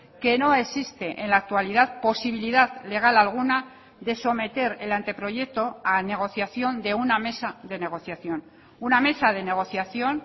que no existe en la actualidad posibilidad legal alguna de someter el ante proyecto a negociación de una mesa de negociación una mesa de negociación